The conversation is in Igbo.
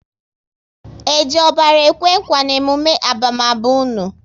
E ji ọbara ekwe nkwa n'emume abamaba unu?